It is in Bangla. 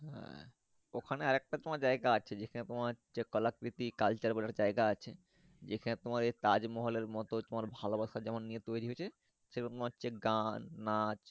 হ্যাঁ ওখানে আর একটা জায়গা আছে যে খানে তোমার কলাকৃতি Culture বলে একটা জায়গা আছে যেখানে তোমার তাজমহলের মতো ভালোবাসা যেমন নিয়ে তৌরি হয়েছে সেরকম হচ্ছে গান নাচ।